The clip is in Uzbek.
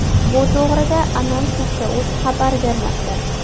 Bu to‘g‘rida Anons.uz xabar bermoqda .